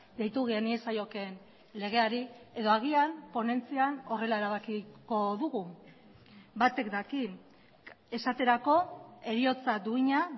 deitu geniezaiokeen legeari edo agian ponentzian horrela erabakiko dugu batek daki esaterako heriotza duina